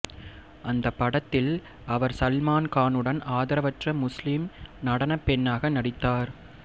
அந்த படத்தில் அவர் சல்மான் கானுடன் ஆதரவற்ற முஸ்லீம் நடனப்பெண்ணாக நடித்தார்